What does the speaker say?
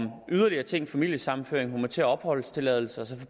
yderligere ting som familiesammenføring humanitær opholdstilladelse og